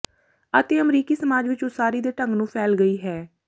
ਅਤੇ ਅਮਰੀਕੀ ਸਮਾਜ ਵਿਚ ਉਸਾਰੀ ਦੇ ਢੰਗ ਨੂੰ ਫੈਲ ਗਈ ਹੈ